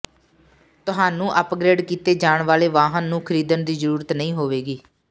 ਤੁਹਾਨੂੰ ਅਪਗ੍ਰੇਡ ਕੀਤੇ ਜਾਣ ਵਾਲੇ ਵਾਹਨ ਨੂੰ ਖਰੀਦਣ ਦੀ ਜ਼ਰੂਰਤ ਨਹੀਂ ਹੋਵੇਗੀ